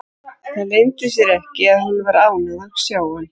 Það leyndi sér ekki að hún var ánægð að sjá hann.